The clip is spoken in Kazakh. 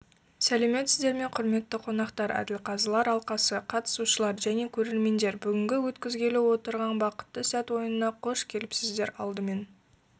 сәлеметсіздерме құрметтті қонақтар әділқазылар алқасы қатысушылар және көрермендер бүгінг өткізгелі отырған бақытты сәтойынына қош келіпсіздер алдымен